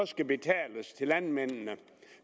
skal betales landmændene